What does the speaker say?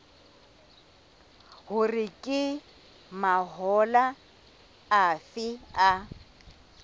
hore ke mahola afe a